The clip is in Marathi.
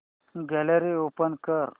गॅलरी ओपन कर